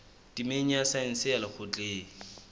temeng ya saense ya lekgotleng